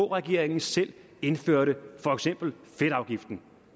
regeringen selv indførte for eksempel fedtafgiften